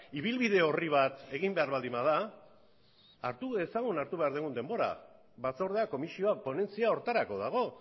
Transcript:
ibilbide orri bat egin behar baldin bada hartu dezagun hartu behar dugun denbora batzordeak komisioak ponentzia horretarako dago